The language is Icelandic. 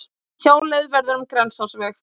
Hjáleið verður um Grensásveg